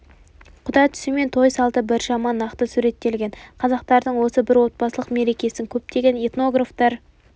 құда түсу мен той салты біршама нақты суреттелген қазақтардың осы бір отбасылық мерекесін көптеген этнографтар